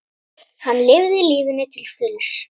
Hann lifði lífinu til fulls.